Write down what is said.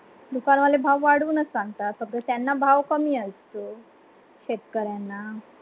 दुकान वाले भाव वाढवून सांगता फक्त त्यांना भाव कमी असतो शेतकर् यांना.